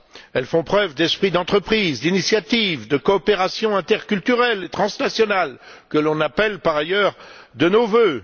Elles font preuve d'esprit d'entreprise, d'initiative, de coopération interculturelle et transnationale que nous appelons par ailleurs de nos vœux.